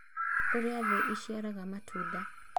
Ũrĩa thĩ ĩciaraga matunda.